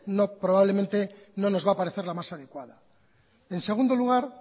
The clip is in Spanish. no nos va a parecer la más adecuada en segundo lugar